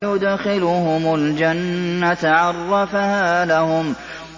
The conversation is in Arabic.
وَيُدْخِلُهُمُ الْجَنَّةَ عَرَّفَهَا لَهُمْ